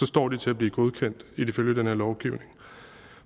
står de til at blive godkendt ifølge den her lovgivning